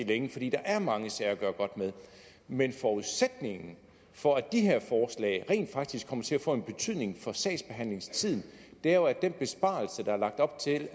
længe fordi der er mange sager at gøre godt med men forudsætningen for at de her forslag rent faktisk kommer til at få en betydning for sagsbehandlingstiden er jo at den besparelse der er lagt op til